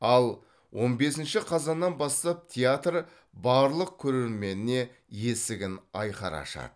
ал он бесінші қазаннан бастап театр барлық көрерменіне есігін айқара ашады